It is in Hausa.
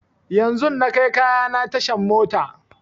Yanzun na kai kayana tashan mota